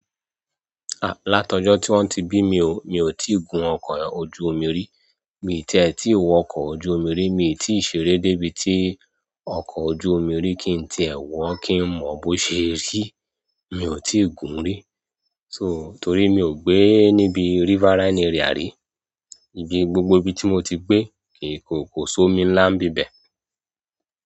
Láti ọ́jọ́ tí wọ́n ti bí mi, mi ò tíì gun ọkọ̀ ojú omi rí. Mi ò tiẹ tí wọ ọkọ̀ ojú omi rí. Mi ò tíì ṣeré débi tí ọkọ̀ ojú omi rí kí n ti ẹ wọ̀, kí n mọ̀ bó ṣe rí. Mi ò tíì gun rí. So, torí mi ò gbé níbi riverine area rí. Ibi gbogbo ibi tí mo ti gbé, kò so omi ńlá nbíbẹ̀.